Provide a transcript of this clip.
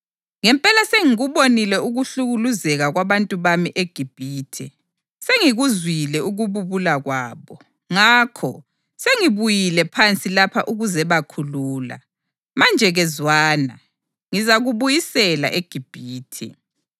Ngempela sengikubonile ukuhlukuluzeka kwabantu bami eGibhithe. Sengikuzwile ukububula kwabo, ngakho sengibuyile phansi lapha ukuzebakhulula. Manje-ke zwana, ngizakubuyisela eGibhithe.’ + 7.34 U-Eksodasi 3.5, 7, 8, 10